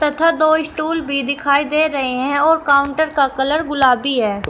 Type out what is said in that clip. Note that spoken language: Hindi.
तथा दो स्टूल भी दिखाई दे रहे हैं और काउंटर का कलर गुलाबी है।